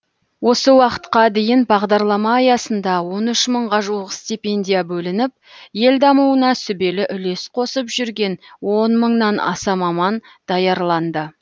осы уақытқа дейін бағдарлама аясында он үш мыңға жуық стипендия бөлініп ел дамуына сүбелі үлес қосып жүрген он мыңнан аса маман даярланды